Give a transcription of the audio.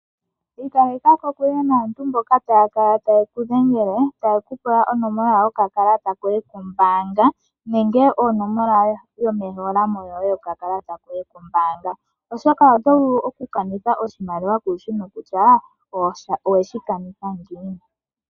Ikaleka kokule naantu mboka taya kala taye kudhengele taye ku pula onomola yoye yokakalata koye kombaanga nenge onomola yoye yomehola mo yoye yokakalata koye kombaanga. Oshoka oto vulu okukanitha oshimaliwa shoye kushi nokutya oweshi kanitha ngiini.